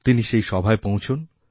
তিনি সেই সভায় পৌঁছন